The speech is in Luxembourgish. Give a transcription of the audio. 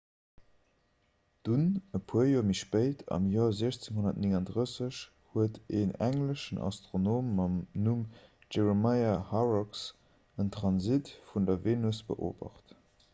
dunn e puer joer méi spéit am joer 1639 huet en engleschen astronom mam numm jeremiah horrocks en transit vun der venus beobacht